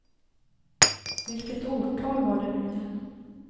Vilket årtal var det nu igen?